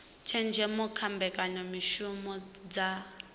tshenzhemo kha mbekanyamishumo dza cbnrm